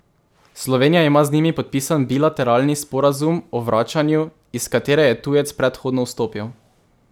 Slovenija ima z njimi podpisan bilateralni sporazum o vračanju, iz katere je tujec predhodno vstopil.